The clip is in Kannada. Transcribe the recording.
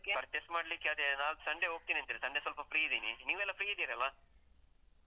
Purchase ಮಾಡ್ಲಿಕ್ಕೆ ಅದೇ ನಾಡ್ದು Sunday ಹೋಗ್ತೀನಿ ಅಂತ ಹೇಳಿ, ಸಂಡೆ ಸ್ವಲ್ಪ free ಇದೀನಿ. ನೀವೆಲ್ಲ free ಇದ್ದೀರಲ್ಲಾ?